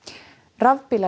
rafbílar